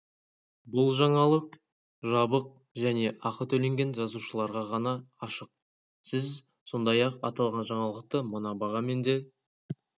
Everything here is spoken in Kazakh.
бұл жаңалық жабық және ақы төлеген жазылушыларға ғана ашық сіз сондай-ақ аталған жаңалықты мына бағамен де